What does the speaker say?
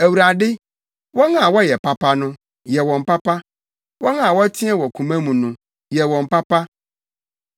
Awurade wɔn a wɔyɛ papa no, yɛ wɔn papa, wɔn a wɔteɛ wɔ koma mu no, yɛ wɔn papa.